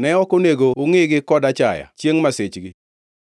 Ne ok onego ungʼigi kod achaya chiengʼ masichgi,